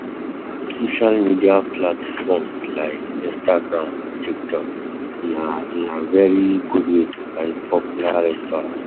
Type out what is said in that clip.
Social media platforms like Instagram and Tiktok na na very good way to find popular restaurant